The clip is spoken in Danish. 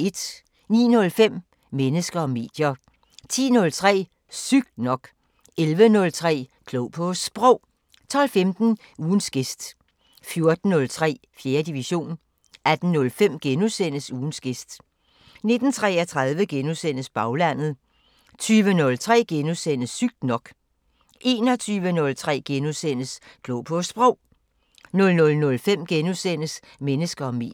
09:05: Mennesker og medier 10:03: Sygt nok 11:03: Klog på Sprog 12:15: Ugens gæst 14:03: 4. division 18:05: Ugens gæst * 19:33: Baglandet * 20:03: Sygt nok * 21:03: Klog på Sprog * 00:05: Mennesker og medier *